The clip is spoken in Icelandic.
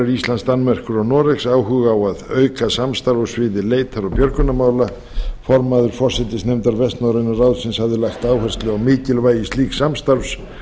íslands danmerkur og noregs áhuga á að auka samstarf á sviði leitar og björgunarmála formaður forsætisnefndar vestnorræna ráðsins hafði lagt áherslu á mikilvægi slíks samstarfs